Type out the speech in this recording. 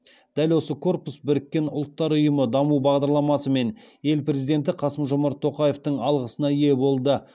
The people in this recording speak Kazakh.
дәл осы корпус біріккен ұлттар ұйымы даму бағдарламасы мен ел президенті қасым жомарт тоқаевтың алғысына ие болды